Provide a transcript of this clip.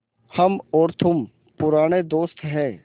हम और तुम पुराने दोस्त हैं